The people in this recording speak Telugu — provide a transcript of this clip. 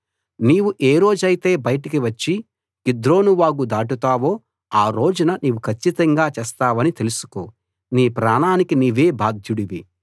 నీవు ఏ రోజైతే బయటికి వచ్చి కిద్రోను వాగు దాటుతావో ఆ రోజున నీవు కచ్చితంగా చస్తావని తెలుసుకో నీ ప్రాణానికి నీవే బాధ్యుడివి